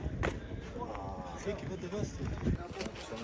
Mənə də deyirdi, sənə deyirəm, sən bilirsən.